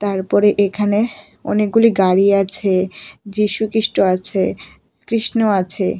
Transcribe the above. তারপর এখানে অনেকগুলো গাড়ি আছে যীশুখ্রীষ্ট আছে কৃষ্ণ আছে।